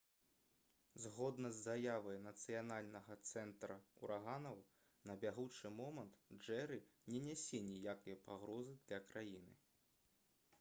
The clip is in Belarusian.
згодна з заявай нацыянальнага цэнтра ўраганаў на бягучы момант «джэры» не нясе ніякай пагрозы для краіны